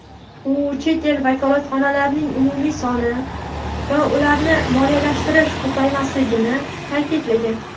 u chet el vakolatxonalarining umumiy soni va ularni moliyalashtirish ko‘paymasligini ta’kidlagan.